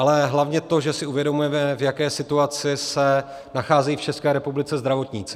Ale hlavně to, že si uvědomujeme, v jaké situaci se nacházejí v České republice zdravotníci.